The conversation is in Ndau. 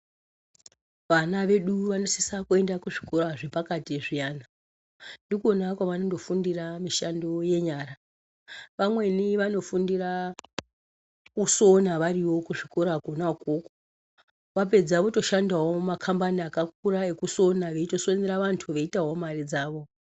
Vana vedu vasisa kuenda kuzvikora zvepakati zviyana ndikona vanofundira misando yenyara , vamweni vanofundira kusona variyo kuzvikora kona ikoko vapedza votoshandawo mumakambani akakura ekusona votosonera antu veyiitawo mare dzavo.